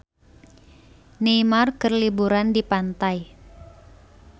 Neymar keur liburan di pantai